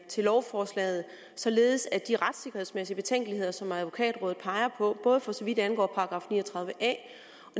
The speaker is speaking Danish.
til lovforslaget således de retssikkerhedsmæssige betænkeligheder som advokatrådet peger på både for så vidt angår § ni og tredive a